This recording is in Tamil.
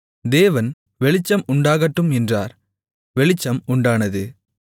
தேவன் வெளிச்சம் உண்டாகட்டும் என்றார் வெளிச்சம் உண்டானது